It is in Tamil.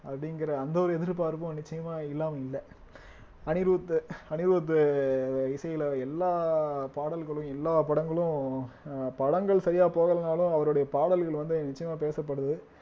அப்படிங்கிற அந்த ஒரு எதிர்பார்ப்பும் நிச்சயமா இல்லாம இல்ல அனிருத் அனிருத் இசையில எல்லா பாடல்களும் எல்லா படங்களும் அஹ் படங்கள் சரியா போகலைன்னாலும் அவருடைய பாடல்கள் வந்து நிச்சயமா பேசப்படுது